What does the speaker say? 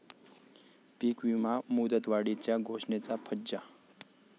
पीकविमा मुदतवाढीच्या घोषणेचा फज्जा